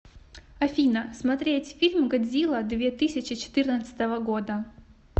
афина смотреть фильм годзилла две тысячи четырнадцатого года